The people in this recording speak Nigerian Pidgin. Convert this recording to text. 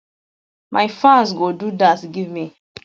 my fans go do dat give me